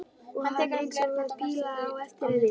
Og hann eins og píla á eftir henni.